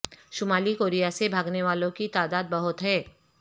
شمالی کوریا سے بھاگنے والوں کی تعداد بہت ہے